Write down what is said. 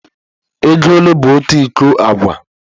Ego ole bụ otu iko agwa?